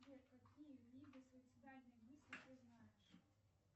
сбер какие виды суицидальные мысли ты знаешь